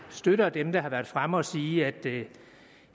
støtter dem der har været fremme at sige at det